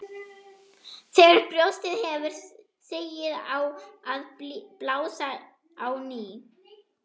Þegar brjóstið hefur sigið á að blása á ný.